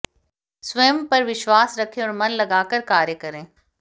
स्वयं पर विश्वाश रखें और मन लगाकर कार्य करें